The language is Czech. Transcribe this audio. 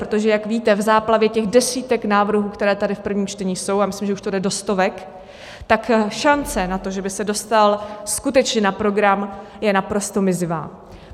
Protože jak víte, v záplavě těch desítek návrhů, které tady v prvním čtení jsou - a myslím, že už to jde do stovek - tak šance na to, že by se dostal skutečně na program, je naprosto mizivá.